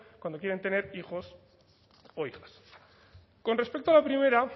cuando quieren tener hijos o hijas con respecto a la primera